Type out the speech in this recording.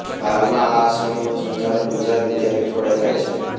હાલમાં આ આશ્રમનું સંચાલન ગુજરાત વિદ્યાપીઠ વડે થાય છે